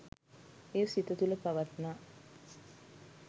එය සිත තුළ පවත්නා